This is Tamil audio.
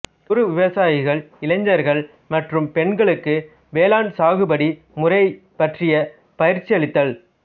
குறு விவசாயிகள் இளைஞர்கள் மற்றும் பெண்களுக்கு வேளாண் சாகுபடி முறை பற்றிய பயிற்சியளித்தல்